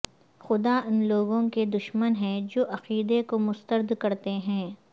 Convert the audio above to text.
خدا ان لوگوں کے دشمن ہے جو عقیدہ کو مسترد کرتے ہیں